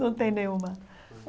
Não tem nenhuma?